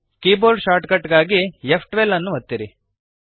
keyboard shortcut ಗಾಗಿ ಫ್12 ಅನ್ನು ಒತ್ತಿರಿ